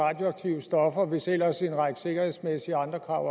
radioaktive stoffer hvis ellers en række sikkerhedsmæssige og andre krav